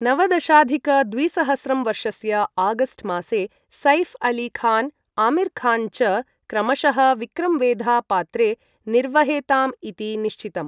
नवदशाधिक द्विसहस्रं वर्षस्य आगस्ट् मासे सैफ् अली खान् आमिर् खान् च क्रमशः विक्रं वेधा पात्रे निर्वहेताम् इति निश्चितम्।